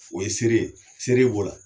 O ye seere ye, seere b'o ra